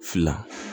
Fila